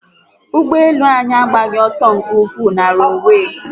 Ugboelu anyi agbaghi oso nke ukwuu na ronwee